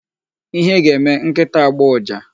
Ihe ga-eme nkịta agbọọ ụja.